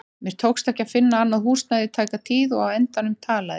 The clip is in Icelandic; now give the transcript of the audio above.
Mér tókst ekki að finna annað húsnæði í tæka tíð og á endanum talaði